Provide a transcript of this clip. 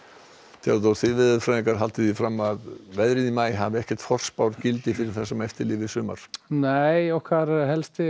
Theodór þið veðurfræðingar haldið fram að veðrið í maí hafi ekkert forspárgildi fyrir veður það sem eftir lifir sumars nei okkar helsti